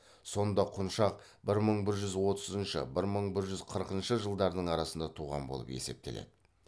сонда құншақ бір мың бір жүз отызыншы бір мың бір жүз қырықыншы жылдардың арасында туған болып есептеледі